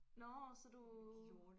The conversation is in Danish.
Nåh så du